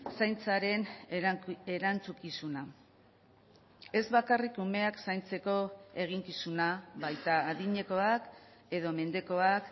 zaintzaren erantzukizuna ez bakarrik umeak zaintzeko eginkizuna baita adinekoak edo mendekoak